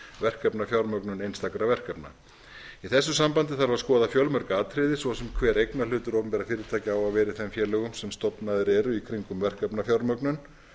verkefnafjármögnun einstakra verkefna í þessu sambandi þarf að skoða fjölmörg atriði svo sem hver eignarhlutur opinberra fyrirtækja á að vera í þeim félögum sem stofnuð eru í kringum verkefnafjármögnun